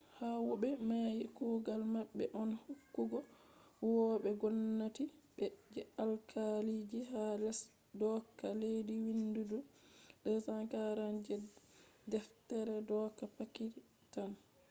howube mai kugal mabbe on hokkugo huwobe gomnati be je alkaaliji ha les dooka leddi vindidum 247 je deftere dooka pakitan